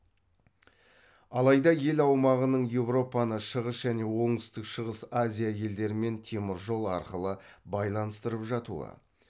алайда ел аумағының еуропаны шығыс және оңтүстік шығыс азия елдерімен теміржол арқылы байланыстырып жатуы